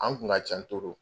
An kun ka ca .